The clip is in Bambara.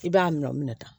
I b'a minɛ o minɛ ta